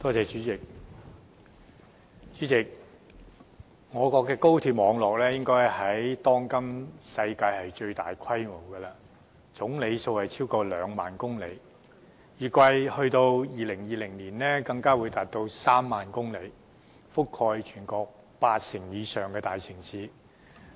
主席，我國高鐵網絡應是當今世上最大規模的，全長超過兩萬公里，預計到2020年更會擴展至3萬公里，覆蓋全國八成以上的大城市。